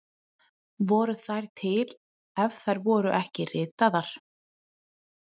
Voru þær til ef þær voru ekki ritaðar?